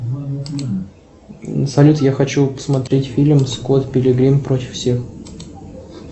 салют я хочу посмотреть фильм скотт пилигрим против всех